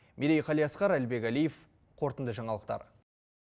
мерей қалиасқар әлібек әлиев қорытынды жаңалықтар